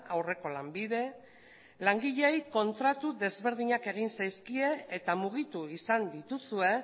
aurreko lanbide langileei kontratu ezberdinak egin zaizkie eta mugitu izan dituzue